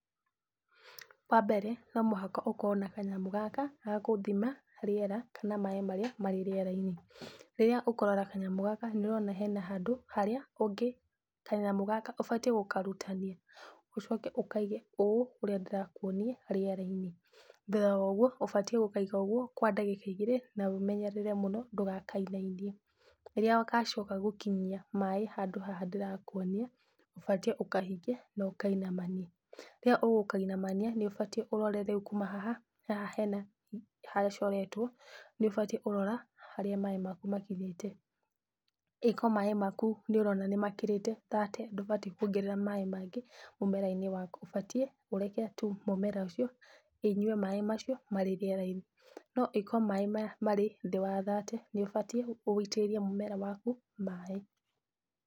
Wambere, nomũhaka ũkorwo na kanyamũ gaka, ga kũthima rĩera, na maĩ marĩa marĩ rĩera-inĩ, rĩrĩa ũkoraga kanyamũ gaka, nĩwona hena handũ harĩa ũngĩ, kanyamũ gaka, ũbatiĩ gũkarutania, ũcoke ũkaige ũ ũrĩa ndĩrakuonia rĩera-inĩ, thutha woguo, ũbatiĩ gũkaiga ũguo kwa ndagĩka igĩrĩ, na ũmenyerere mũno, ndũgakainainie, rĩrĩa gacoka gũkinyia maĩ handũ haha ndĩrakuonia, ũbatiĩ ũkahinge, nokainamanie, rĩrĩa ũgũkainamania, nĩũbatiĩ ũrore rĩu kuma haha, haha hena haha hacoretwo, nĩũbatiĩ kũrora harĩa maĩ maya makinyĩte, ĩko maĩ maku nĩũrona nĩmakĩrĩte thate, ndũbatiĩ kuongerera maĩ mangĩ mũmera-inĩ waku, ũbatiĩ ũreke tu mũmera ũcio, ũnyue maĩ macio, marĩ rĩera-inĩ, no ĩko maĩ maya marĩ thĩ wa thirty, nĩũbatiĩ, wũitĩrĩrie mũmera waku, maĩ.